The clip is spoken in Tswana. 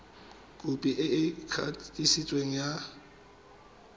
khopi e e kanisitsweng ya